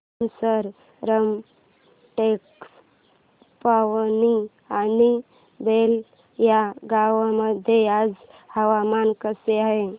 तुमसर रामटेक पवनी आणि बेला या गावांमध्ये आज हवामान कसे आहे